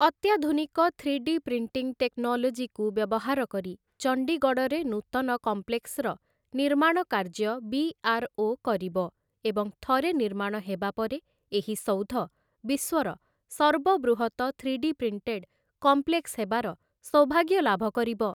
ଅତ୍ୟାଧୁନିକ three D printing ଟେକ୍ନୋଲୋଜିକୁ ବ୍ୟବହାର କରି ଚଣ୍ଡିଗଡ଼ରେ ନୂତନ କମ୍ପେ୍ଲକ୍ସର ନିର୍ମାଣ କାର୍ଯ୍ୟ ବି.ଆର୍.ଓ. କରିବ ଏବଂ ଥରେ ନିର୍ମାଣ ହେବା ପରେ ଏହି ସୌଧ ବିଶ୍ୱର ସର୍ବବୃହତ ଥ୍ରୀ ଡି ପ୍ରିଣ୍ଟେଡ୍ କମ୍ପ୍ଲେକ୍ସ ହେବାର ସୌଭାଗ୍ୟ ଲାଭ କରିବ ।